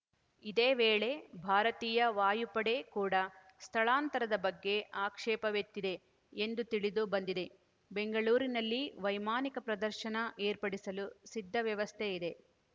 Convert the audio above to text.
ಇದೇ ವೇಳೆ ಭಾರತೀಯ ವಾಯುಪಡೆ ಕೂಡ ಸ್ಥಳಾಂತರದ ಬಗ್ಗೆ ಆಕ್ಷೇಪವೆತ್ತಿದೆ ಎಂದು ತಿಳಿದು ಬಂದಿದೆ ಬೆಂಗಳೂರಿನಲ್ಲಿ ವೈಮಾನಿಕ ಪ್ರದರ್ಶನ ಏರ್ಪಡಿಸಲು ಸಿದ್ಧ ವ್ಯವಸ್ಥೆ ಇದೆ